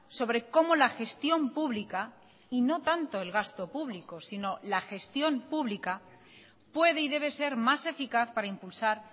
sobre como la gestión pública y no tanto el gasto público sino la gestión pública puede y debe ser más eficaz para impulsar